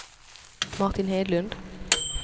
Martin Hedlund